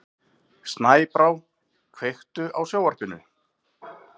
Snæbrá, kveiktu á sjónvarpinu.